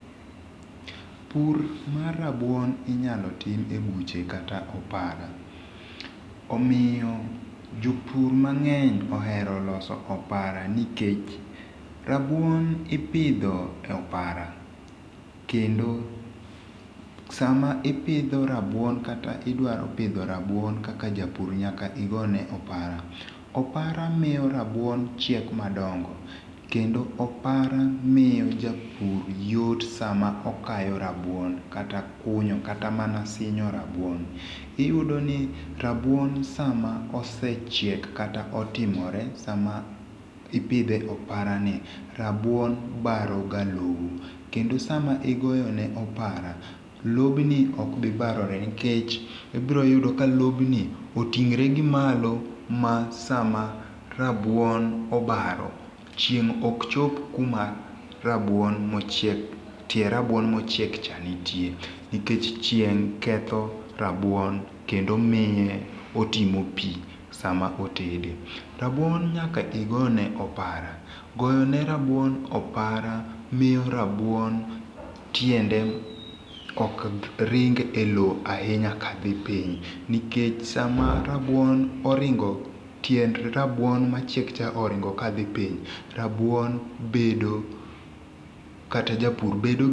Pur mar rabuon inyal tim e buche kata opara omiyo jopur mang'eny oero loso opara nikech rabuon ipidho e opara kendo sama ipitho rabuon kata idwaro pitho rabuon kaka japur nyaka to igone opara opara miyo rabuon chiek madongo kendo opara miyo japur yot sama okayo rabuon kata kunyo kata mana sinjo rabuon iyudoni rabuon sama osechiek kata otimore sama ipidhe e oparani, rabuon baroga lowo kendo sama igone opara lobni okbi barore nikech ibiroyudo ka lobni oting're gi malo ma sama rabuon obaro chieng' ok chop kuma rabuon mochiek tie rabuon mochiek cha nitie nikech chieng ketho rabuon kendo miye otimo pii sama otede, rabuon nyaka igone opora sama igoyone rabuon opara miyo rabuon tiende koka ringe e lowo ahinya kathi piny nikech sama rabuon oringo tiend rabuon machiek cha oringo kadhi piny rabuon bedo kata japur bedo.